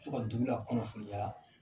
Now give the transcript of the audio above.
Tɔgɔ dugu lakunnafoniya